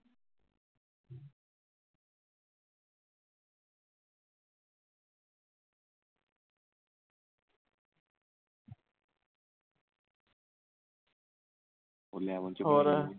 ਹੋਰ